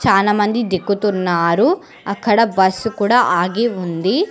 చానమంది దిక్కుతున్నారు అక్కడ బస్సు కూడా ఆగి ఉంది.